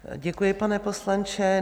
Děkuji, pane poslanče.